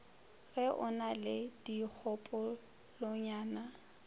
ge o na le dikgopolonyana